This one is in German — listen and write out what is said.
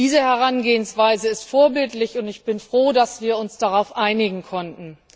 Diese Herangehensweise ist vorbildlich, und ich bin froh, dass wir uns darauf einigen konnten.